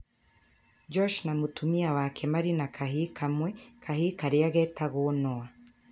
Josh na mũtumia wake marĩ na kahĩĩ kamwe, kahĩĩ karĩa metagwo Noah.